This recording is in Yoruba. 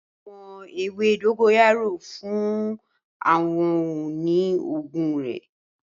A mọ ewe dogoyaro fun awọn ohun-ini oogun rẹ.